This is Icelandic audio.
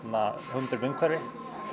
hugmyndir við umhverfi